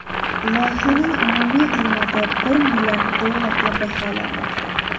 Loyihaning umumiy qiymati bir milliard dollarga baholanmoqda.